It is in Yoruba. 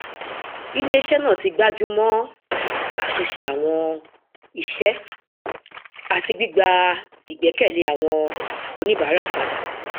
iléiṣẹ náà ti gbájú mọ àtúnṣe àwọn iṣẹ àti gbígba ìgbẹkẹlé àwọn oníbàárà padà